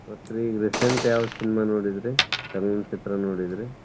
ಮತ್ರಿ ಈಗ recent ಯಾವ್ cinema ನೋಡಿದ್ರಿ? ಚಲನಚಿತ್ರ ನೋಡಿದ್ರಿ?